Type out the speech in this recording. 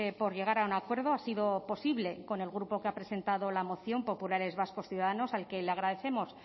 por llegar a un acuerdo ha sido posible con el grupo que ha presentado la moción populares vascos ciudadanos al que le agradecemos